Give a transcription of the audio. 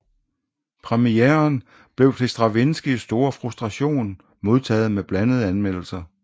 Premieren blev til Stravinskijs store frustration modtaget med blandede anmeldelser